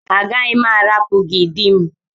Agaghị m arapu gị di m.